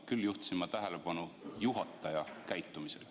Küll aga juhtisin ma tähelepanu juhataja käitumisele.